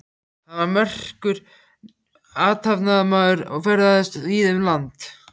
Hann var merkur athafnamaður og ferðaðist víða um land.